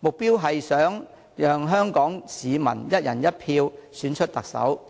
目標是想讓香港市民"一人一票"選出特首。